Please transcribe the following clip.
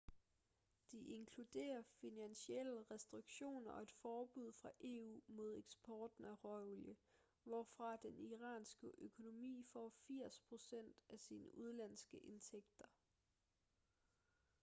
de inkluderer finansielle restriktioner og et forbud fra eu mod eksporten af råolie hvorfra den iranske økonomi får 80% af sine udenlandske indtægter